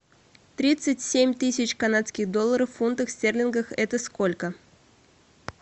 тридцать семь тысяч канадских долларов в фунтах стерлингов это сколько